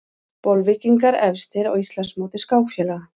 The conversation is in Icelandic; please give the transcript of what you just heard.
Bolvíkingar efstir á Íslandsmóti skákfélaga